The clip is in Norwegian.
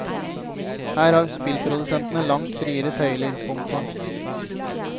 Her har spillprodusentene langt friere tøyler. punktum